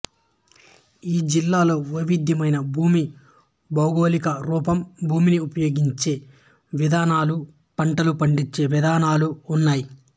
ఈ జిల్లాలో వైవిధ్యమైన భూమి భౌగోళికరూపం భూమిని ఉపయోగించే విధానాలు పంటలు పండించే విధానాలు ఉన్నాయి